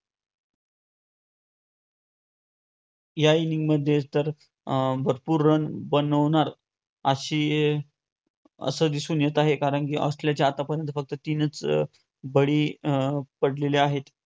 या inning मध्ये तर भरपूर run बनवणार अशी असे दिसून येत कारण कि असल्याचे आतापर्यंत फक्त तीनच बळी पडलेले आहेत.